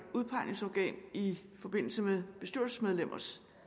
udpegningsorgan i forbindelse med af bestyrelsesmedlemmer